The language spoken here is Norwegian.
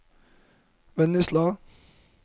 Vennesla